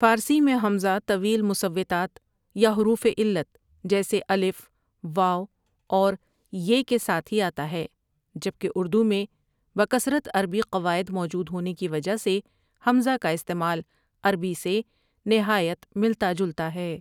فارسی میں ہمزہ طویل مصوتات یا حروف علت جیسے ا، و اور ی کے ساتھی ہی آتا ہے جبکہ اردو میں بکثرت عربی قواعد موجود ہونے کی وجہ سے ہمزہ کا استعمال عربی سے نہایت ملتا جلتا ہے۔